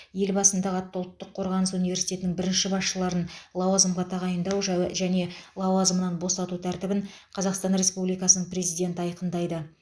елбасы атындағы ұлттық қорғаныс университетінің бірінші басшыларын лауазымға тағайындау жәуе және лауазымынан босату тәртібін қазақстан республикасының президенті айқындайды